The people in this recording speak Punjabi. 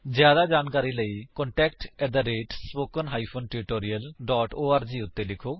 ਜਿਆਦਾ ਜਾਣਕਾਰੀ ਲਈ ਕ੍ਰਿਪਾ contact at spoken hyphen tutorial dot org ਉੱਤੇ ਲਿਖੋ